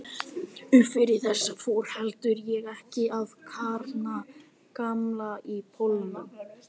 Uppfrá þessu fór heldur en ekki að kárna gamanið í Pólunum.